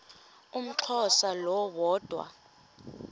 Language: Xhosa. umxhosa lo woda